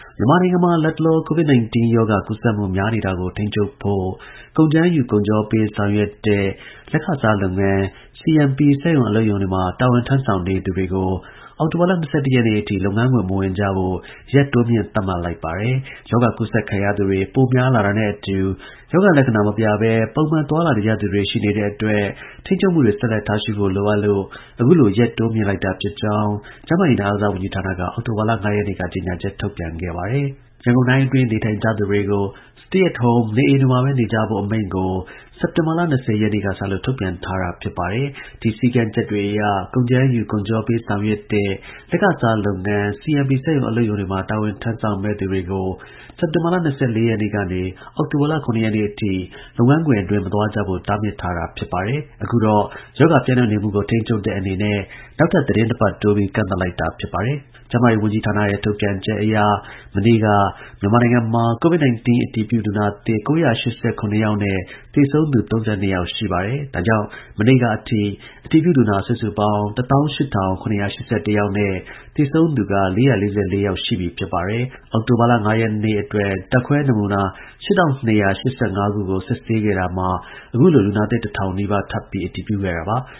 မြန်မာနိုင်ငံမှာ လတ်တလော COVID-19ရောဂါ ကူးစက်မှုများနေတာကို ထိန်းချုပ်ဖို့ ရန်ကုန်တိုင်း ဒေသကြီးအတွင်း ကုန်ကြမ်းယူ၊ ကုန်ချောပေးဆောင်ရွက်တဲ့ လက်ခ စားလုပ်ငန်း (CMP) စက်ရုံ၊ အလုပ်ရုံတွေမှာ တာဝန်ထမ်း ဆောင်သူတွေကို အောက်တိုဘာလ ၂၁ ရက်နေ့အထိ လုပ်ငန်းခွင် မဝင်ကြဖို့ ရက် တိုးမြှင့်သတ်မှတ်လိုက်ပါတယ်။ ရောဂါ ကူးစက်ခံရသူတွေ ပိုများလာတာနဲ့ ရောဂါကူးစက်ခံထားရပြီး ရောဂါ လက္ခဏာ မပြဘဲ ပုံမှန် သွားလာနေကြသူတွေ ရှိနေတဲ့အတွက် ထိန်းချုပ်မှုတွေ ဆက်လက် ထားရှိဖို့ လိုအပ်လို့ အခုလို ရက်တိုးမြှင့်လိုက်တာဖြစ်ကြောင်းကျန်းမာရေးနဲ့ အားကစား ဝန်ကြီးဌာနက အောက်တိုဘာလ ၅ ရက်နေ့က ကြေညာထုတ်ပြန်ခဲ့တာပါ။ ရန်ကုန်တိုင်းအတွင်း နေထိုင်ကြသူတွေကို stay at home နေအိမ်တွေမှာဘဲ နေကြဖို့ အမိန့်ကို စက်တင်ဘာလ ၂၀ ရက်နေ့ကစလို့ ထုတ်ပြန်ထားတာဖြစ်ပြီး ဒီစည်းကမ်းချက်တွေအရ ကုန်ကြမ်းယူ၊ ကုန်ချောပေးဆောင်ရွက်တဲ့ လက်ခစားလုပ်ငန်း (CMP) စက်ရုံ၊ အလုပ်ရုံတွေမှာ တာဝန်ထမ်း ဆောင်မယ့်သူတွေကို စက်တင်ဘာလ ၂၄ ရက်နေ့ကနေ အောက်တိုဘာ လ ၇ ရက်နေ့အထိ လုပ်ငန်းခွင်မသွားကြဖို့ တားမြစ်ထားခဲ့တာပါ။ အခုတော့ ရောဂါပျံ့နှံ့နေမှုကို ထိန်းချုပ်တဲ့ အနေနဲ့ နောက်ထပ်သတင်းနှစ်ပတ်တိုးပြီး ကန့်သတ်လိုက်တာဖြစ်ပါတယ်။ ကျန်းမာရေး ဝန်ကြီးဌာနရဲ့ ထုတ်ပြန်ချက်အရ မနေ့က မြန်မာနိုင်ငံမှာ COVID-19 အတည်ပြုလူနာသစ် ၉၈၇ ယောက်နဲ့ သေဆုံးသူ ၃၂ ယောက်ရှိပါတယ်။ ဒါကြောင့် မနေ့ကအထိ အတည်ပြု လူနာ စုစုပေါင်း ၁၈, ၇၈၁ ယောက်နဲ့ သေဆုံးသူက ၄၄၄ ယောက်ရှိ ပါတယ်။ အောက်တိုဘာလ ၅ ရက်နေ့အတွက် ဓါတ်ခွဲနမူနာက ၈,၂၈၅ ခု စစ်ဆေးခဲ့တာမှာ အခုလို လူနာသစ် ၁၀၀၀ နီးပါးထပ်ပြီး အတည်ပြုခဲ့တာပါ။